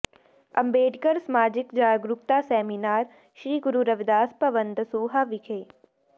ਅੰਬੇਡਕਰ ਸਮਾਜਿਕ ਜਾਗਰੂਕਤਾ ਸੈਮੀਨਾਰ ਸ੍ਰੀ ਗੁਰੂ ਰਵਿਦਾਸ ਭਵਨ ਦਸੂਹਾ ਵਿਖੇ